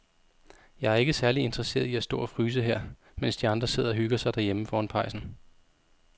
Jeg er ikke særlig interesseret i at stå og fryse her, mens de andre sidder og hygger sig derhjemme foran pejsen.